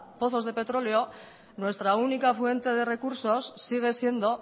pozos de petróleo nuestra única fuente de recursos sigue siendo